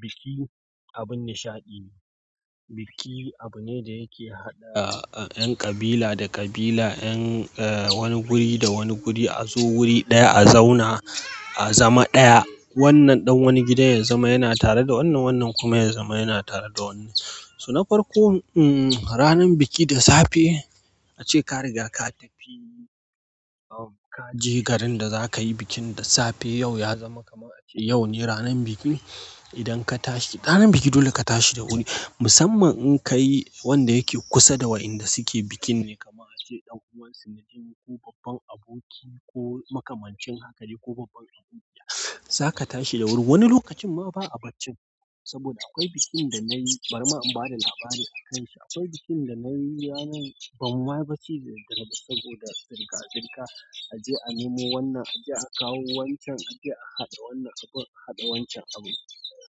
biki abin nishaɗi biki abu ne da yake haɗa 'yan ƙabila da ƙabila, 'yan wani guri da wani guri a zo wuri ɗaya, a zauna, a zama ɗaya. Wannan ɗan wani gidan ya zama yana tare da wannan, wannan kuma ya zama yana tare da wannan. So na farko, ranar biki da safe ace ka riga ka tafi ka je garin da za ka yi bikin da safe. Yau ya zama kamar ace yau ne ranar biki. Idan ka tashi, ranar biki dole ka tashi da wuri. Musamman in ka yi wanda yake kusa da wa'inda suke bikin ne kamar ace ɗan'uwan su na jini ko babban aboki ko makamancin haka ne ko babban abokiya, za ka tashi da wuri. Wani lokacin ma ba a barci saboda akwai bikin da na yi, bari ma in ba da labari a kan shi. Akwai bikin da na yi ranan, ban ma yi bacci da daddare ba saboda zirga zirga. A je a nemo wannan, a je a kawo wancan, a je a haɗa wannan abun, haɗa wancan abun.